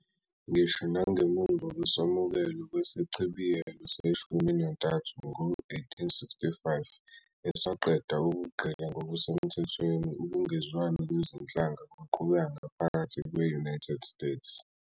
Ngisho nangemuva kokwamukelwa kweSichibiyelo Seshumi Nantathu ngo-1865, esaqeda ubugqila ngokusemthethweni, ukungezwani kwezinhlanga kwaqhubeka ngaphakathi kwe-United States.